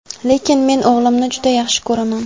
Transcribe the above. Lekin men o‘g‘limni juda yaxshi ko‘raman.